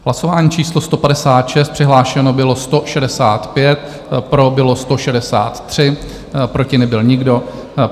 Hlasování číslo 156, přihlášeno bylo 165, pro bylo 163, proti nebyl nikdo.